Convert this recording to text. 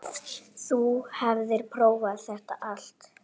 Þú hafðir prófað þetta allt.